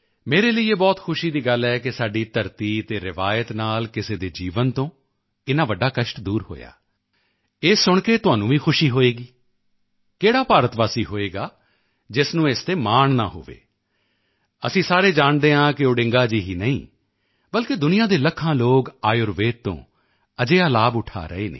ਮੇਰੇ ਲਈ ਇਹ ਬਹੁਤ ਖੁਸ਼ੀ ਦੀ ਗੱਲ ਹੈ ਕਿ ਸਾਡੀ ਧਰਤੀ ਅਤੇ ਰਵਾਇਤ ਨਾਲ ਕਿਸੇ ਦੇ ਜੀਵਨ ਤੋਂ ਇੰਨਾ ਵੱਡਾ ਕਸ਼ਟ ਦੂਰ ਹੋਇਆ ਇਹ ਸੁਣ ਕੇ ਤੁਹਾਨੂੰ ਵੀ ਖੁਸ਼ੀ ਹੋਵੇਗੀ ਕਿਹੜਾ ਭਾਰਤ ਵਾਸੀ ਹੋਵੇਗਾ ਜਿਸ ਨੂੰ ਇਸ ਤੇ ਮਾਣ ਨਾ ਹੋਵੇ ਅਸੀਂ ਸਾਰੇ ਜਾਣਦੇ ਹਾਂ ਕਿ ਓਡਿੰਗਾ ਜੀ ਹੀ ਨਹੀਂ ਬਲਕਿ ਦੁਨੀਆ ਦੇ ਲੱਖਾਂ ਲੋਕ ਆਯੁਰਵੇਦ ਤੋਂ ਅਜਿਹਾ ਲਾਭ ਉਠਾ ਰਹੇ ਹਨ